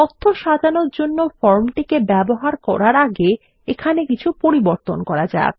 তথ্য সাজানোর জন্য ফর্মটিকে ব্যবহার করার আগে এখানে কিছু পরিবর্তন করা যাক